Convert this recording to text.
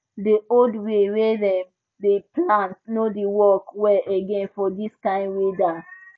the old way wey dem dey plant nor dey work well again for this kind weather